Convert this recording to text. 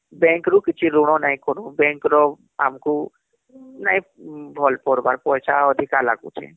bank ରୁ କିଛି ଋଣ ନାଇଁ କରବୁ bank ର ଆମକୁ ନାଇଁ ଭଲ ପଡିବାର ପଇସା ଅଧିକା ଲାଗୁଛି